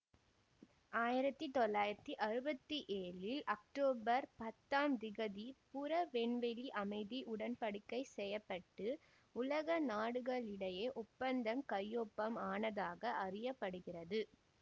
ஆயிரத்தி தொள்ளாயிரத்தி அறுபத்தி ஏழில் அக்தோபர் பத்தாம் திகதி புற விண்வெளி அமைதி உடன் படிக்கை செய்ய பட்டு உலக நாடுகளிடையே ஒப்பந்தம் கையொப்பம் ஆனதாக அறிய படுகிறது